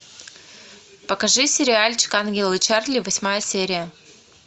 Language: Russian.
покажи сериальчик ангелы чарли восьмая серия